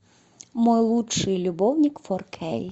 мой лучший любовник фор кей